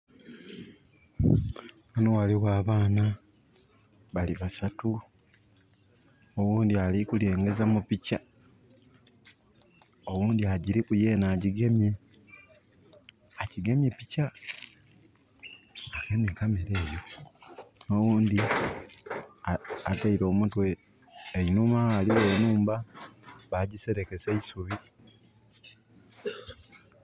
Ghano ghaligho abaana. Bali basatu. Oghundi ali kulengeza mu pikya, oghundi agiriku yene agyigemye. Agigemye pikya, agemye camera eyo. Oghundi ataire omutwe einhuma, ghaligho enhumba, bagiserekesa eisubi